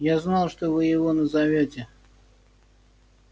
я знал что вы его назовёте